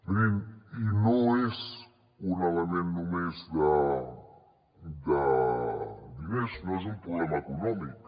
mirin i no és un element només de diners no és un problema econòmic